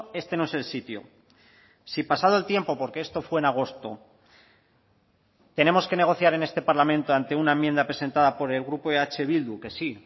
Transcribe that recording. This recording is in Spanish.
este no es el sitio si pasado el tiempo porque esto fue en agosto tenemos que negociar en este parlamento ante una enmienda presentada por el grupo eh bildu que sí